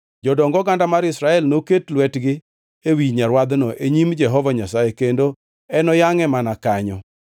Jodong oganda mar Israel noket lwetgi ewi nyarwadhno e nyim Jehova Nyasaye kendo enoyangʼe mana kanyo.